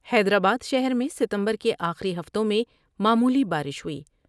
حیدرآبادشہر میں ستمبر کے آخری ہفتوں میں معمولی بارش ہوئی ۔